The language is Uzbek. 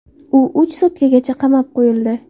U uch sutkagacha qamab qo‘yildi.